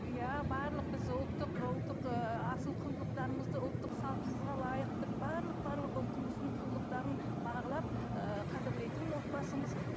иә барлық біз ұлттық ұлттық ы асыл құндылықтарымызды ұлттық салтымызға лайықты барлық барлық ұлтымыздың құндылықтарын бағалап ы қадірлейтін отбасымыз